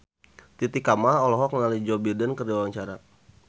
Titi Kamal olohok ningali Joe Biden keur diwawancara